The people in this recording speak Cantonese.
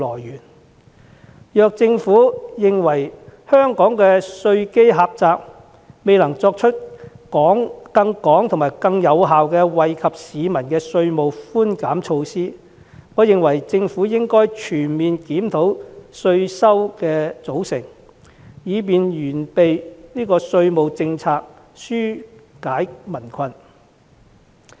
如果政府認為香港的稅基狹窄，以致未能推出更廣泛、更有效的稅務寬減措施，我認為政府應該全面檢討稅收來源，以完善稅務政策，紓解民困。